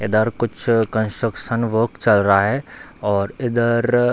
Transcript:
इधर कुछ construction work चल रहा है और इधर --